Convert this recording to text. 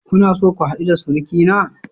Kuna so ku hadu da surukina?